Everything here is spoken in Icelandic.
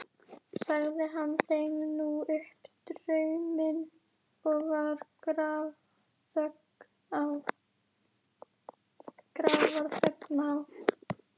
Sagði hann þeim nú upp drauminn og var grafarþögn á.